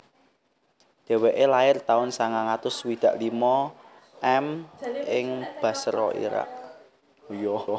Dheweke lair taun sangang atus swidak limo M ing Basra Irak